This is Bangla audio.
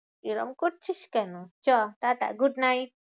এরম করছিস কেন? চ টাটা good night.